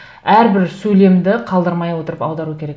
әрбір сөйлемді қалдырмай отырып аудару керек